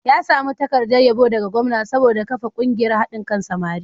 Ya sami takardar yabo daga gwamna saboda kafa ƙungiyar haɗin kan samari.